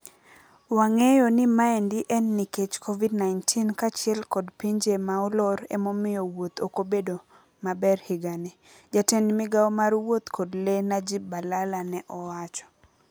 Wang'eyo ni maendi en nikech Covid-19 kaachiel kod pinje maolor emomio wuoth okobedo mabe higani." Jatend migao mar wuoth kod lee Najib Balala ne owacho.